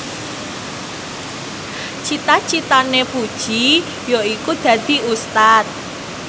cita citane Puji yaiku dadi Ustad